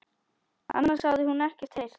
Annars hafði hún ekkert heyrt.